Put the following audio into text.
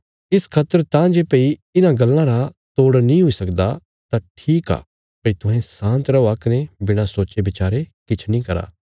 इस खातर तां जे भई इन्हां गल्लां रा तोड़ नीं हुई सकदा तां ठीक आ भई तुहें शान्त रौआ कने बिणा सोचे बचारे किछ नीं करा